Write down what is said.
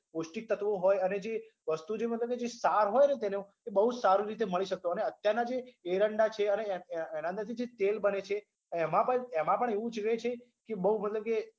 પૌષ્ટિક તત્વો હોય અને જે વસ્તુ જોઈને મતલબ જે હોય ન તેનો એ બોઉં સારી રીતે મળી શકતો અને અત્યારના જે એરંડા છે અને એના અંદરથી જે તેલ બને છે એમાં પણ એમાં પણ એવું જોઈએ કે બોઉં મતલબ કે